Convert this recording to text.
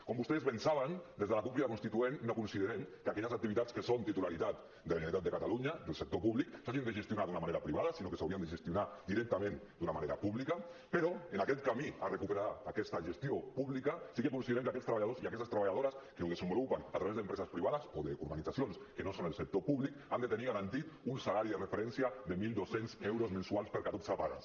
com vostès bé saben des de la cup crida constituent no considerem que aquelles activitats que són titularitat de la generalitat de catalunya del sector públic s’hagin de gestionar d’una manera privada sinó que s’haurien de gestionar directament d’una manera pública però en aquest camí de recuperar aquesta gestió pública sí que considerem que aquests treballadors i aquestes treballadores que ho desenvolupen a través d’empreses privades o d’organitzacions que no són el sector públic han de tenir garantit un salari de referència de mil dos cents euros mensuals per catorze pagues